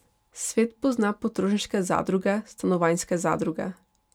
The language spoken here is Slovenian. Svet pozna potrošniške zadruge, stanovanjske zadruge.